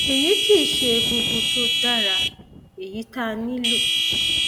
èyí kì í ṣe egungun tó dára èyí tá a nílò